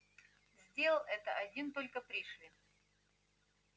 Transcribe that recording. сделал это один только пришвин